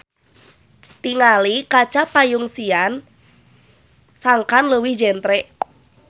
Tingali kaca panyungsian sangkan leuwih jentre